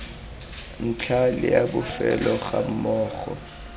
ntlha le a bofelo gammogo